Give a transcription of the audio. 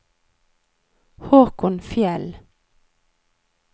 Håkon Fjeld